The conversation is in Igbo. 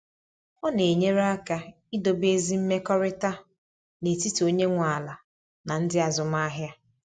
Ọ na enyere aka idobe ezi mmekọrịta n’etiti onye nwe ala na ndị azụmahịa.